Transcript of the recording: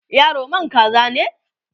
yaro man kaza ne?